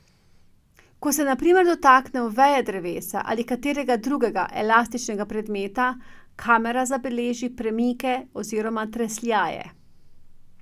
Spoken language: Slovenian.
Ko se na primer dotaknemo veje drevesa ali katerega drugega elastičnega predmeta, kamera zabeleži premike oziroma tresljaje.